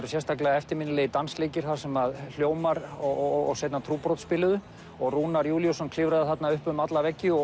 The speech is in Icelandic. eftirminnilegir dansleikir þar sem hljómar og seinna trúbrot spiluðu og Rúnar Júlíusson klifraði upp um alla veggi og